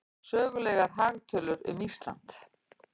Sögulegar hagtölur um Ísland.